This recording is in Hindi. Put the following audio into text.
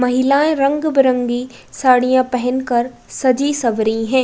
महिलाएं रंग-बिरंगी साड़ियां पहनकर सजी-सवरी है।